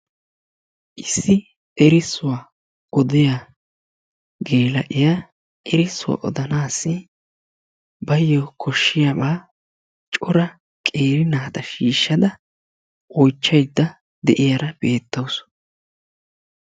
Issi erissuwaa odiya geela'iya erissuwaa oddanaassi baayyo koshshiyaba cora qeeri naata shiishshada oychchayda de'iyara beettawusu.